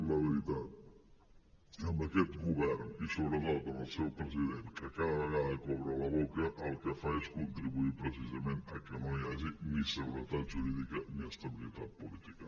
i la veritat amb aquest govern i sobretot amb el seu president que cada vegada que obre la boca el que fa és contribuir precisament que no hi hagi ni seguretat jurídica ni estabilitat política